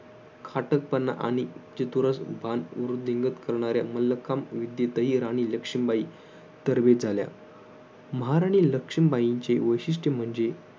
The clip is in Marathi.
खाटकपणा आणि चतुरभान वृद्धिंगत करणाऱ्या मल्लखम विद्येतही राणी लक्ष्मीबाई तरबेज झाल्या महाराणी लक्ष्मीबाईंचे वैशिष्ट्ये म्हणजे